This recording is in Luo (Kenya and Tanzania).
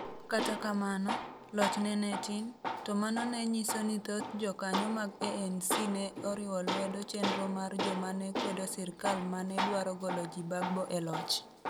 Kata kamano, lochne ne tin, to mano ne nyiso ni thoth jokanyo mag ANC ne oriwo lwedo chenro mar joma ne kwedo sirkal ma ne dwaro golo Gbagbo e loch.